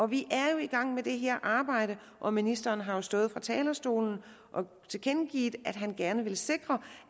vi er jo i gang med det her arbejde og ministeren har stået på talerstolen og tilkendegivet at han gerne vil sikre